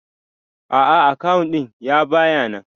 A'a akawu din ya baya nan.